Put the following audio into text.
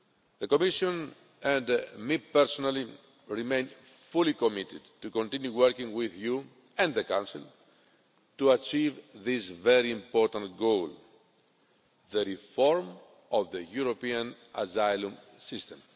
The Commission, and I personally, remain fully committed to continue working with you and the Council to achieve this very important goal the reform of the European asylum system.